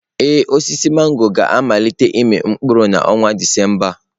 Ee, osisi mangọrọ ga-amalite ịmị mkpụrụ n'ọnwa Disemba a.